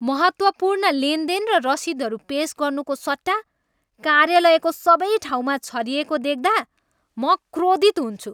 महत्त्वपूर्ण लेनदेन र रसिदहरू पेस गर्नुको सट्टा कार्यालयको सबै ठाउँमा छरिएको देख्दा म क्रोधित हुन्छु।